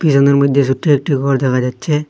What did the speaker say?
ছোট একটি ঘর দেখা যাচ্ছে।